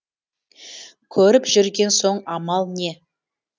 көріп жүрген соң амал не